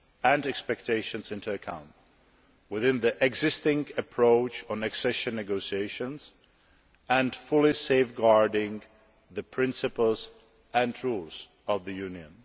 and expectations into account, within the existing approach on accession negotiations and fully safeguarding the principles and rules of the Union.